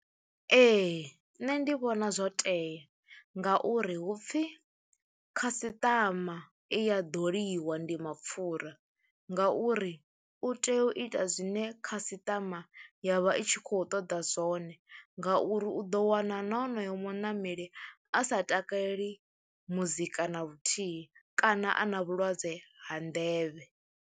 Ee, nṋe ndi vhona zwo tea ngauri hu pfhi khasiṱama i a ḓoliwa ndi mapfhura ngauri u tea u ita zwine khasaṱama ya vha i tshi khou ṱoḓa zwone ngauri u ḓo wana na honoyo muṋameli a sa takaleli muzika na luthihi kana a na vhulwadze ha nḓevhe.